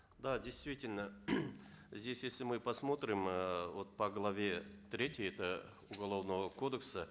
да действительно здесь если мы посмотрим эээ вот по главе третьей это уголовного кодекса